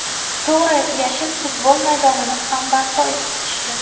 To‘g‘ri, yashil futbol maydonini ham barpo etishdi.